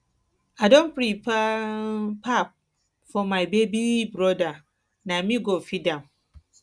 i don prepare um pap um for my baby broda na me go feed um am